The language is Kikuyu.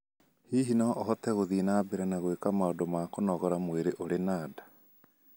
Hihi no ũhote gũthiĩ na mbere na gwĩka maundu ma kũnogora mwĩrĩ ũrĩ na nda?